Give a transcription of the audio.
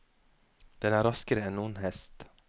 Den er raskere enn noen hest.